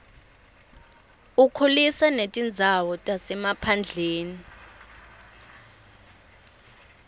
ukhulisa netindzawo tasemaphandleni